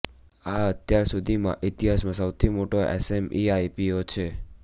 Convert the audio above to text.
આ અત્યાર સુધીમાં ઇતિહાસમાં સૌથી મોટો એસએમઈ આઈપીઓ છે